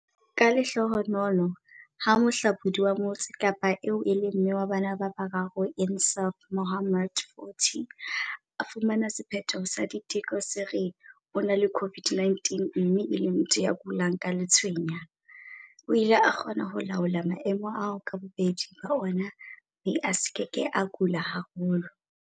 Ka lehlohonolo, ha mohlabolli wa Motse Kapa eo e leng mme wa bana ba bararo Insaaf Mohammed, 40, a fumana sephetho sa diteko se re o na le COVID-19 mme e le motho ya kulang ke letshweya, o ile a kgona ho laola maemo ao ka bobedi ba ona mme a se ke a kula haholo.